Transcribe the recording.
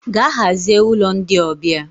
Gaa hazie ụlọ ndị ọbịa!